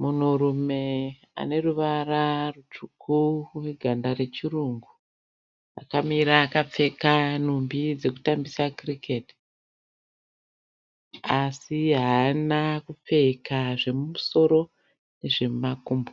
Munhurume aneruvara rutsvuku uneganda rechirungu. Akamira akapfeka nhumbi dzekutambisa Cricket, asi haana kupfeka zvemumusoro nezvekumakumbo.